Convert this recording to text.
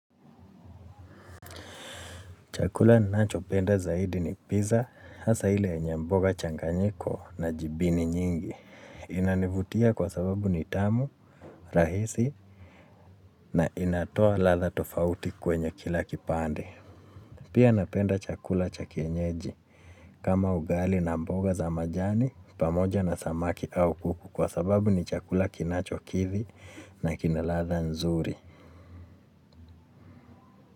Chakula ninacho penda zaidi ni pizza, hasa ile yenye mboga changanyiko na jibini nyingi. Inanivutia kwa sababu ni tamu, rahisi na inatoa ladha tofauti kwenye kila kipande. Pia napenda chakula cha kienyeji kama ugali na mboga za majani pamoja na samaki au kuku kwa sababu ni chakula kinacho kithi na kina ladha nzuri.